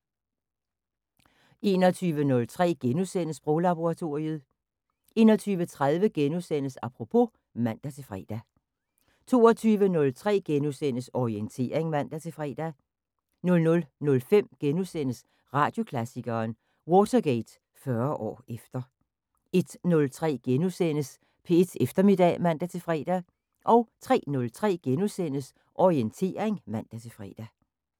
21:03: Sproglaboratoriet * 21:30: Apropos *(man-fre) 22:03: Orientering *(man-fre) 00:05: Radioklassikeren: Watergate 40 år efter * 01:03: P1 Eftermiddag *(man-fre) 03:03: Orientering *(man-fre)